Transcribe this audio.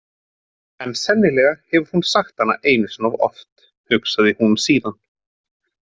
En sennilega hefur hún sagt hana einu sinni of oft, hugsaði hún síðan.